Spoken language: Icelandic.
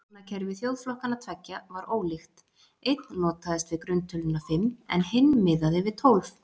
Talnakerfi þjóðflokkanna tveggja var ólíkt, einn notaðist við grunntöluna fimm en hinn miðaði við tólf.